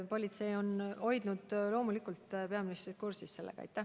Politsei on loomulikult hoidnud peaministrit sellega kursis.